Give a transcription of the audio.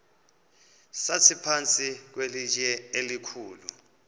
sasiphantsi kwelitye elikhulu